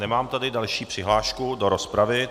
Nemám tady další přihlášku do rozpravu.